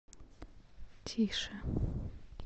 тише